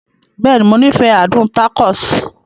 Bẹ́ẹ̀ni, Mo nifẹ adun tacos.